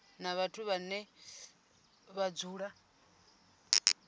na vhathu vhane vha dzula